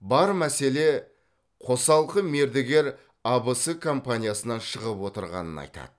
бар мәселе қосалқы мердігер абс компаниясынан шығып отырғанын айтады